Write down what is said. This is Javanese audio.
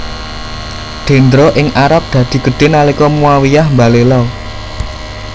Dendra ing Arab dadi gedhé nalika Muawiyyah mbalela